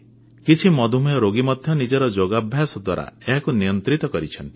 କିଛି ମଧୁମେହ ରୋଗୀ ମଧ୍ୟ ନିଜର ଯୋଗାଭ୍ୟାସ ଦ୍ୱାରା ଏହାକୁ ନିୟନ୍ତ୍ରିତ କରିଛନ୍ତି